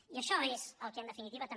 i això és el que en definitiva també